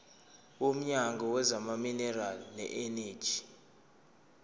womnyango wezamaminerali neeneji